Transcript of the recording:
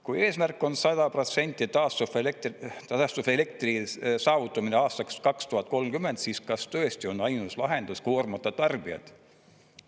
Kui eesmärk on 100% taastuvelektri saavutamine aastaks 2030, siis kas tõesti on ainus lahendus koormata tarbijaid?